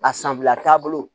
A sanbila taabolo